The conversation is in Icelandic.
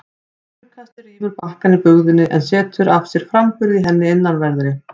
Straumkastið rýfur bakkann í bugðunni en setur af sér framburð í henni innanverðri.